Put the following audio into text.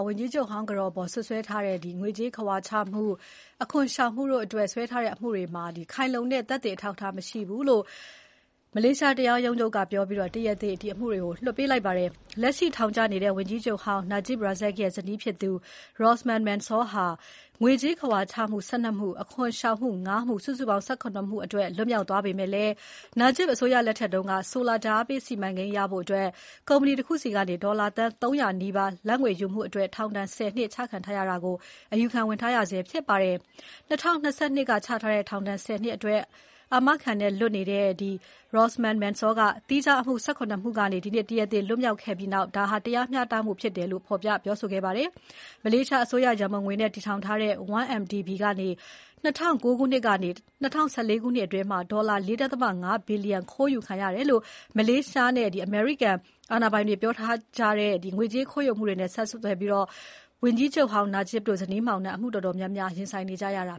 ဝန်ကြီးချုပ်ဟောင်းကတော် Rosmah Mansor အပေါ် စွပ်စွဲထားတဲ့ ငွေကြေးခဝါချမှု၊ အခွန်ရှောင်မှုတို့အတွက် ခိုင်လုံတဲ့အထောက်အထား သက်သေမရှိလို့ဆိုပြီး မလေးရှားတရားရုံးချုပ်က တရားသေ လွှတ်ပေးလိုက်ပါတယ်။ လက်ရှိထောင်ကျနေတဲ့ ဝန်ကြီးချုပ်ဟောင်း Najib Razak ရဲ့ ဇနီးဖြစ်သူ Rosmah Mansor ဟာ ငွေကြေးခဝါချမှု ၁၂ မှု၊ အခွန်ရှောင်မှု ၅ မှု စုစုပေါင်း ၁၇ မှုအတွက် လွတ်မြောက်သွားပေမဲ့ Najib အစိုးရလက်ထက်က ဆိုလာဓါတ်အားပေးစီမံကိန်းရဖို့ ကုမ္ပဏီတခုဆီက ဒေါ်လာ သန်း ၃၀၀ နီးပါး လာဘ်ငွေယူမှုအတွက် ထောင်ဒဏ် ၁၀ နှစ်ချခံထားရတာကို အယူခံဝင်ထားရဆဲဖြစ်ပါတယ်။ ၂၀၂၂ ခုနှစ်က ချထားတဲ့ ထောင်ဒဏ် ၁၀ နှစ်အတွက် အာမခံနဲ့လွတ်နေတဲ့ Rosmah Mansor က သီးခြား အမှု ၁၇ မှုကနေ ဒီနေ့ တရားသေလွတ်မြောက်ခဲ့ပြီးနောက် ဒါကမှ တရားမျှတမှုဖြစ်တယ်လို့ ပြောခဲ့သလို တရားသူကြီးကိုလည်း မှန်ကန်တဲ့ ဆုံးဖြတ်ချက်ချတယ်လို့ဆိုပြီး ကျေးဇူးတင်စကား ပြောခဲ့ပါတယ်။ မလေးရှားအစိုးရရန်ပုံငွေတွေနဲ့ တည်ထောင်ထားတဲ့ 1MDB ကနေ ၂၀၀၉ ခုနှစ်ကနေ ၂၀၁၄ ခုနှစ် အတွင်း ဒေါ်လာ ၄.၅ ဘီလျံ ခိုးယူခံရတယ်လို့ မလေးရှားနဲ့ အမေရိကန်အာဏာပိုင်တွေ ပြောကြား ထားတဲ့ ငွေကြေးခိုးယူမှုတွေနဲ့ ဆက်စပ်ပြီး ဝန်ကြီးချုပ်ဟောင်း Najib တို့ ဇနီးမောင်နှံဟာ အမှု တော်တော်များများကို ရင်ဆိုင်နေရတာ